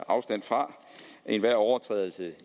afstand fra enhver overtrædelse